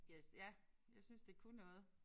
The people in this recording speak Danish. Jeg ja jeg synes det kunne noget